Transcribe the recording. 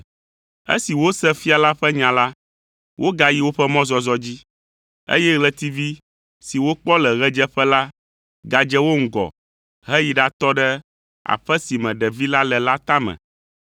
Esi wose fia la ƒe nya la, wogayi woƒe mɔzɔzɔ dzi, eye ɣletivi si wokpɔ le ɣedzeƒe la gadze wo ŋgɔ heyi ɖatɔ ɖe aƒe si me ɖevi la le la tame.